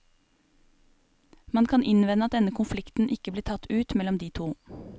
Man kan innvende at denne konflikten ikke blir tatt ut mellom de to.